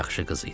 Yaxşı qız idi.